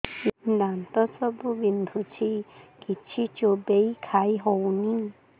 ଦାନ୍ତ ସବୁ ବିନ୍ଧୁଛି କିଛି ଚୋବେଇ ଖାଇ ହଉନି